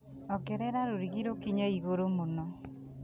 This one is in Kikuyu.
ongerera rũrigi rũkinye igũrũ mũno